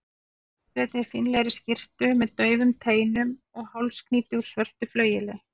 ljósleitri, fínlegri skyrtu með daufum teinum og hálsknýti úr svörtu flaueli.